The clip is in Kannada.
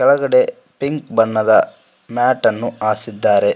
ಗಡೆ ಪಿಂಕ್ ಬಣ್ಣದ ಮ್ಯಾಟ್ ಅನ್ನು ಹಾಸಿದ್ದಾರೆ.